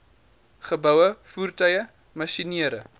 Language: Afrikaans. geboue voertuie masjinerie